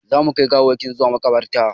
Za mu kai gawawwakin zuwa maƙabarta